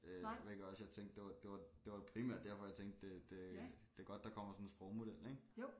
Øh hvilket også jeg tænkte det var det var det var primært derfor jeg tænkte det det det godt der kommer sådan en sprogmodel ik